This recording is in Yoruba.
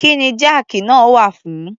Kí ni jáàkì náà wà fún?